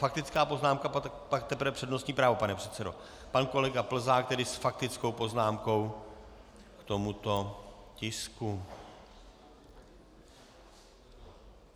Faktická poznámka, pak teprve přednostní právo, pane předsedo Pan kolega Plzák tedy s faktickou poznámkou k tomuto tisku.